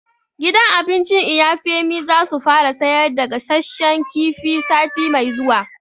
Gidan abincin Iya Femi za su fara sayar da gasashen kifi sati mai zuwa